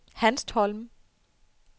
Hanstholm